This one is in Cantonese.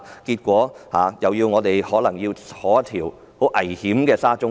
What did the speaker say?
結果就是我們將來可能要乘搭十分危險的沙中線。